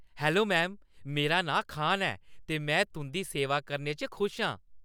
Hello ma'am, मेरा नांऽ खान ऐ ते में तुंʼदी सेवा करने च खुश आं।